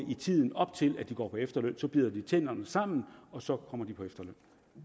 i tiden op til de går på efterløn og så bider de tænderne sammen og så kommer de på efterløn